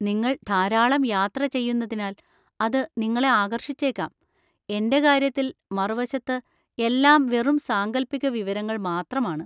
നിങ്ങൾ ധാരാളം യാത്ര ചെയ്യുന്നതിനാൽ അത് നിങ്ങളെ ആകർഷിച്ചേക്കാം; എന്‍റെ കാര്യത്തിൽ, മറുവശത്ത്, എല്ലാം വെറും സാങ്കൽപ്പിക വിവരങ്ങൾ മാത്രമാണ്.